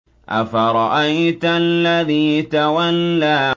أَفَرَأَيْتَ الَّذِي تَوَلَّىٰ